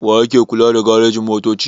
Wa yake kula da garejin-motoci?